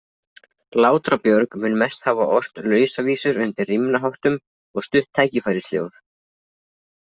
Látra-Björg mun mest hafa ort lausavísur undir rímnaháttum og stutt tækifærisljóð.